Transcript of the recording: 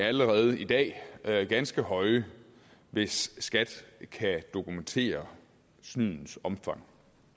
allerede i dag ganske høje hvis skat kan dokumentere snydets omfang